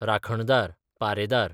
राखणदार, पारेदार